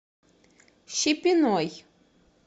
щепиной